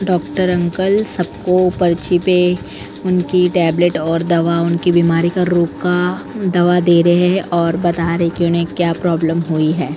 Doctor uncle सबको पर्ची पे उनकी टेबलेट और दवा उनकी बीमारी का रोग का दवा दे रहे हैं और बता रहे कि उन्हें क्या प्रॉब्लम हुई है ।